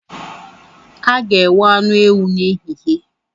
A ga-enwe anụ ewu n’ehihie